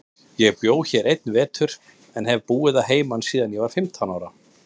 Ég bjó hér einn vetur, en hef búið að heiman síðan ég var fimmtán ára.